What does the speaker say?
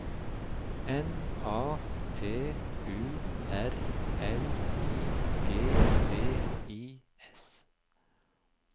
N A T U R L I G V I S